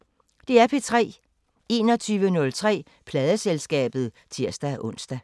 21:03: Pladeselskabet (tir-ons)